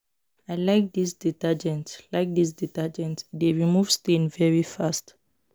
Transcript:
I like dis detergent like dis detergent e dey remove stain very fast